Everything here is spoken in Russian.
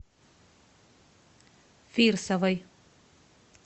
фирсовой